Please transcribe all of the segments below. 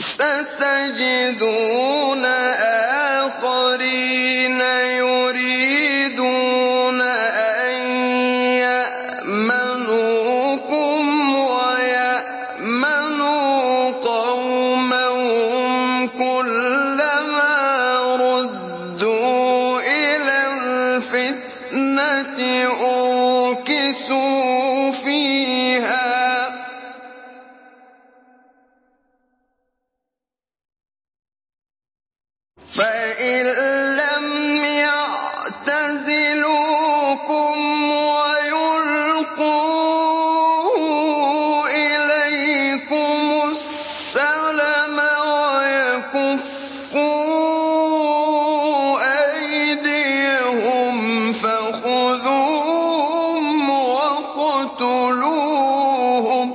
سَتَجِدُونَ آخَرِينَ يُرِيدُونَ أَن يَأْمَنُوكُمْ وَيَأْمَنُوا قَوْمَهُمْ كُلَّ مَا رُدُّوا إِلَى الْفِتْنَةِ أُرْكِسُوا فِيهَا ۚ فَإِن لَّمْ يَعْتَزِلُوكُمْ وَيُلْقُوا إِلَيْكُمُ السَّلَمَ وَيَكُفُّوا أَيْدِيَهُمْ فَخُذُوهُمْ وَاقْتُلُوهُمْ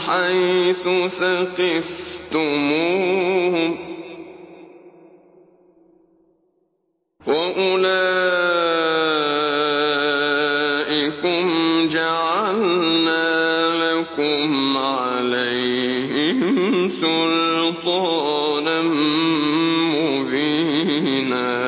حَيْثُ ثَقِفْتُمُوهُمْ ۚ وَأُولَٰئِكُمْ جَعَلْنَا لَكُمْ عَلَيْهِمْ سُلْطَانًا مُّبِينًا